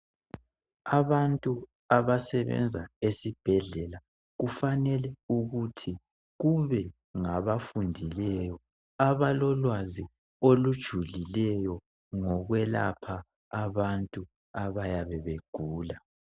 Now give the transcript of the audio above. Abantu abasebenza esibhedlela kufanele ukuthi kube ngabafundileyo abalolwazi olujulileyo ngokwelapha abantu abayabe begula.